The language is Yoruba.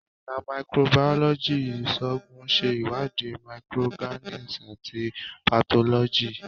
Ẹka Microbiology Iṣoogun ṣe iwadi microorganisms ati pathology.